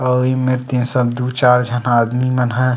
आऊ ए मेर तेेन सब दो चार झन आदमी मन ह--